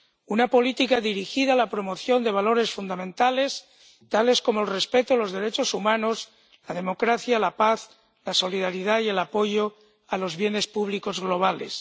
una política dirigida a la promoción de valores fundamentales, tales como el respeto de los derechos humanos, la democracia, la paz, la solidaridad y el apoyo a los bienes públicos globales.